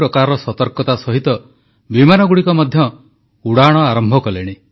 ଗତଥର ମୁଁ ମନ୍ କି ବାତ୍ କହିଲାବେଳେ ଯାତ୍ରୀବାହୀ ଟ୍ରେନଗୁଡ଼ିକ ବନ୍ଦ ଥିଲା ବସଗୁଡ଼ିକ ବନ୍ଦ ଥିଲା ବିମାନସେବା ବନ୍ଦ ଥିଲା